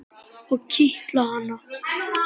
Og kitla hana.